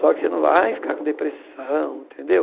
Só que você não vai ficar com depressão, tendeu?